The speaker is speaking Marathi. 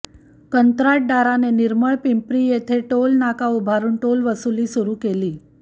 कंत्राटदाराने निर्मळपिंप्री येथे टोल नाका उभारून टोल वसुली सुरू केली